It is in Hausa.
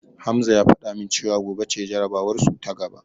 Hamza ya fada min cewa gobe ce jarabawarsu ta gaba.